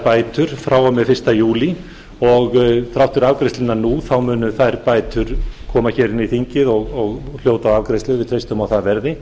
bætur frá og með fyrsta júlí og þrátt fyrir afgreiðsluna nú munu þær bætur koma inn í þingið og hljóta afgreiðslu við treystum að það verði